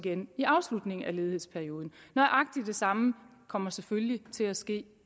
igen i afslutningen af ledighedsperioden nøjagtig det samme kommer selvfølgelig til at ske